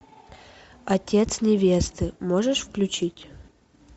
отец невесты можешь включить